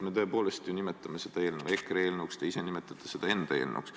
Me tõepoolest ju nimetame seda EKRE eelnõuks, te ise nimetate seda enda eelnõuks.